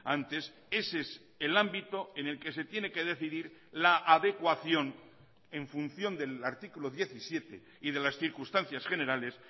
antes ese es el ámbito en el que se tiene que decidir la adecuación en función del artículo diecisiete y de las circunstancias generales